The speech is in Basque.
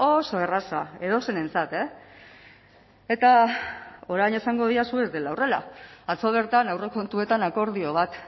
oso erraza edozeinentzat eta orain esango didazu ez dela horrela atzo bertan aurrekontuetan akordio bat